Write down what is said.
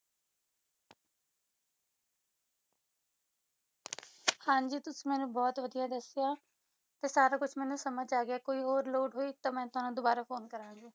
ਹਾਂਜੀ ਤੁਸੀ ਮੈਨੂੰ ਬਹੁਤ ਵਧੀਆ ਦੱਸਿਆ ਤੇ ਸਾਰਾ ਕੁਛ ਮੈਨੂੰ ਸਮਝ ਆ ਗਿਆ ਕੋਈ ਹੋਰ ਲੋੜ ਹੋਈ ਤਾਂ ਮੈਂ ਤੁਹਾਨੂੰ ਦੁਬਾਰਾ ਫੋਨ ਕਰਾਂਗੀ।